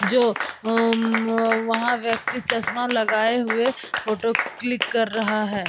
जो वहाँ व्यक्ति चश्मा लगाए हुए फोटो क्लिक कर रहा है ।